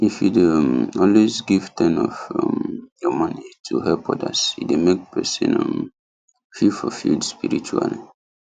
if you dey um always give ten of um your money to help others e dey make person um feel fulfilled spiritually